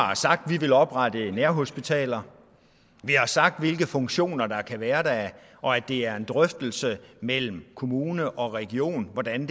har sagt at vi vil oprette nærhospitaler og vi har sagt hvilke funktioner der kan være der og at det er en drøftelse mellem kommune og region hvordan